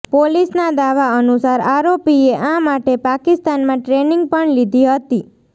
પોલીસના દાવા અનુસાર આરોપીએ આ માટે પાકિસ્તાનમાં ટ્રેનિંગ પણ લીધી હતી